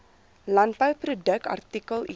landbouproduk artikel item